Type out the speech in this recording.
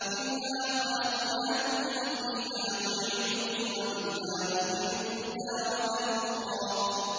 ۞ مِنْهَا خَلَقْنَاكُمْ وَفِيهَا نُعِيدُكُمْ وَمِنْهَا نُخْرِجُكُمْ تَارَةً أُخْرَىٰ